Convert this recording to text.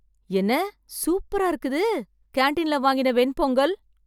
என்ன, சூப்பரா இருக்குது கேன்டீன்ல வாங்கின வெண்பொங்கல்.